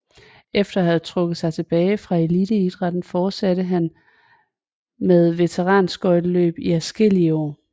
Efter at have trukket sig tilbage fra eliteidrætten fortsatte han med veteranskøjteløb i adskillige år